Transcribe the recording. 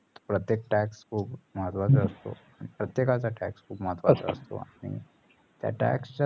प्रत्येक tax खूप महत्वाचा असतो. प्रत्येकाचा tax खूप महत्त्वाचा असतो. त्या tax च्या